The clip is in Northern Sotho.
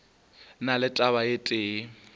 na le taba e tee